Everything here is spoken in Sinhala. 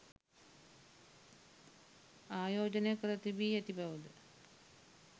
ආයෝජනය කර තිබී ඇති බවද